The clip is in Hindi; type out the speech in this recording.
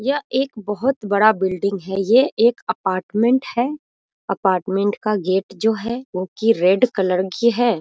यह एक बहुत बड़ा बिल्डिंग है ये एक अपार्टमेंट है अपार्टमेंट का गेट जो है वो की रेड कलर की है।